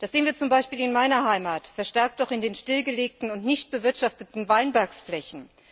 Das sehen wir zum Beispiel in meiner Heimat, verstärkt auch in den stillgelegten und nicht bewirtschafteten Weinbergflächen.